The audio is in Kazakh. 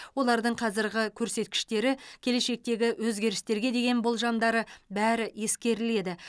олардың қазіргі көрсеткіштері келешектегі өзгерістерге деген болжамдары бәрі ескеріледі